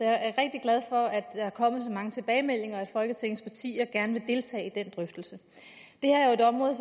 glad for at der er kommet så mange tilbagemeldinger og at folketingets partier gerne vil deltage i den drøftelse det her er jo et område